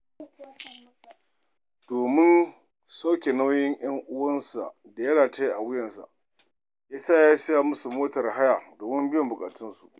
Domin sauke nauyin 'yan uwansa da ya rataya a wuyansa, ya saya musu motar haya domin biyan buƙatunsu.